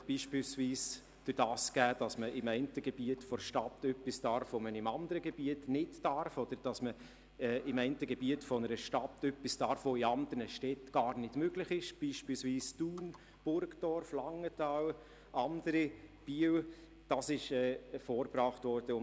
Diese ist beispielsweise dann gegeben, wenn ein Gebiet der Stadt etwas darf, das man in einem anderen Gebiet nicht darf oder das in anderen Städten wie Thun, Burgdorf, Langenthal oder Biel nicht möglich ist.